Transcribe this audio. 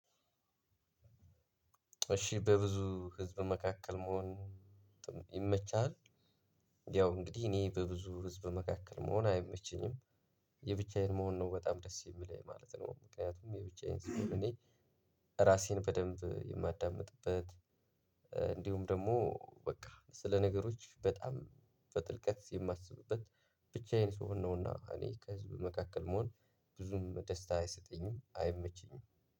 እሺ በብዙ ህዝብ መካከል መሆን ይመቻል። ያው እንግዲህ እኔ በብዙ ህዝብ መካከል መሆን አይመቸኝም። የብቻዬን መሆን ነው በጣም ደስ የሚለኝ ማለት ነው። ምክንያቱም የብቻዬን ስሆን እኔ ራሴን በደንብ የማዳምጥበት። እንዲሁም ደግሞ በቃ ስለ ነገሮች በጣም በጥልቀት የማስቡበት ብቻዬን ስሆን ነውና እኔ ከህዝብ መካከል መሆን ብዙም ደስታ አይሰጠኝም። አይመቸኝም።